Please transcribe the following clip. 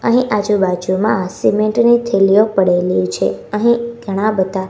અહીં આજુબાજુમાં સિમેન્ટ ની થેલીઓ પડેલી છે અહીં ઘણા બધા--